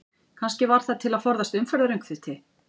Kannski var það til að forðast umferðaröngþveiti?